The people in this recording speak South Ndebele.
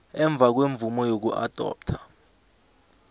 emva kwemvumo yokuadoptha